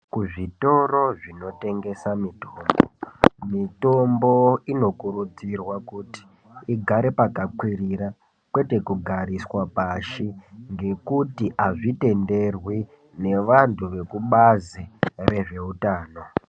Kuzvitoro zvinotengesa mitombo, mitombo inokurudzirwa kuti igare pakakwirira kwete kugariswa pashi ngekuti hazvitenderwi nevantu vekubazi rezveutano.